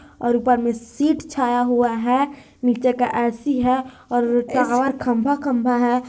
और ऊपर मे सीट छाया हुआ है नीचे का ऐसी है और टावर खंभा-खंभा है।